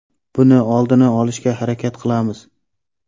Buni oldini olishga harakat qilamiz.